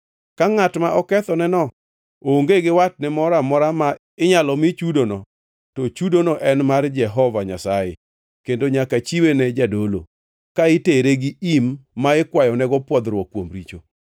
Ka ngʼat ma okethneno onge gi watne moro amora ma inyalo mi chudono, to chudono en mar Jehova Nyasaye kendo nyaka chiwe ne jadolo, ka itere gi im ma ikwayonego pwodhruok kuom richo.